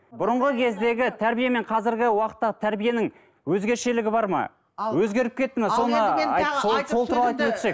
бұрынғы кездегі тәрбие мен қазіргі уақыттағы тәрбиенің өзгешелігі бар ма өзгеріп кетті ме соны сол сол туралы айтып өтсек